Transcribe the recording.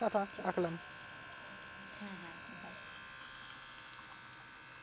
tata রাখলাম